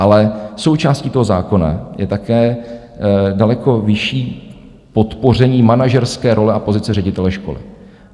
Ale součástí toho zákona je také daleko vyšší podpoření manažerské role a pozice ředitele školy.